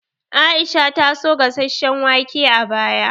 Aisha ta so gasasshen wake a baya